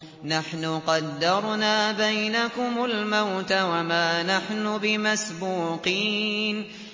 نَحْنُ قَدَّرْنَا بَيْنَكُمُ الْمَوْتَ وَمَا نَحْنُ بِمَسْبُوقِينَ